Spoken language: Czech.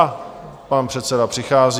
A pan předseda přichází.